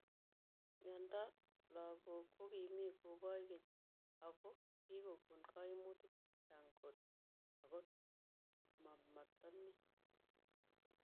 Miondoop lagook kokimii kobaach keeny ago kigokon kaimutik chechang koot akomatamii